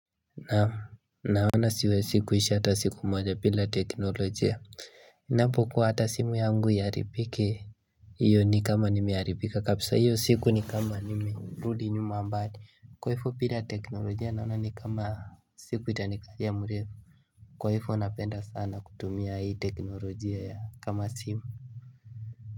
Naoana siwezi kuishi hata siku moja bila teknolojia. Napokuwa hata simu yangu iharibike Iyo ni kama nimeharibika kabisa. Hiyo siku ni kama nimerudi nyuma mbali. Kwa hivyo bila teknolojia naona ni kama siku itanikalia mrefu. Kwa hivyo napenda sana kutumia hii teknolojia ya kama simu.